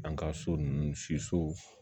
An ka so nunnu si so